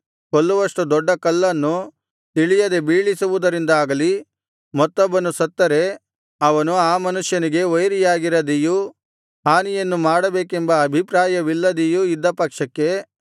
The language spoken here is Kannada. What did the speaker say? ಕೊಲ್ಲುವಷ್ಟು ದೊಡ್ಡ ಕಲ್ಲನ್ನು ತಿಳಿಯದೆ ಬೀಳಿಸುವುದರಿಂದಾಗಲಿ ಮತ್ತೊಬ್ಬನು ಸತ್ತರೆ ಅವನು ಆ ಮನುಷ್ಯನಿಗೆ ವೈರಿಯಾಗಿರದೆಯೂ ಹಾನಿಯನ್ನು ಮಾಡಬೇಕೆಂಬ ಅಭಿಪ್ರಾಯವಿಲ್ಲದೆಯೂ ಇದ್ದ ಪಕ್ಷಕ್ಕೆ